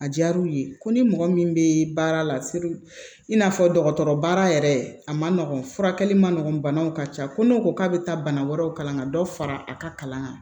A diyara u ye ko ni mɔgɔ min bɛ baara la i n'a fɔ dɔgɔtɔrɔ baara yɛrɛ a man nɔgɔn furakɛli ma nɔgɔn banaw ka ca ko n'o ko k'a bɛ taa bana wɛrɛw kalan ka dɔ fara a ka kalan kan